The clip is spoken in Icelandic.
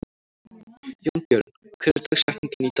Jónbjörn, hver er dagsetningin í dag?